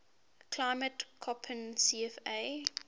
climate koppen cfa